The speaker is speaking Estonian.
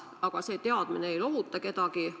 Aga see teadmine ei lohuta kedagi.